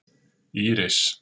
Íris